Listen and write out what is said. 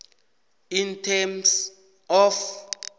in terms of